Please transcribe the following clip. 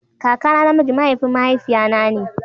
Kakana na miji mahaifin mahaifiya na ne.